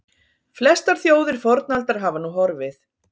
Flestar þjóðir fornaldar hafa nú horfið.